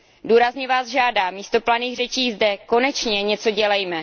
Důrazně vás žádám místo planých řečí zde konečně něco dělejme.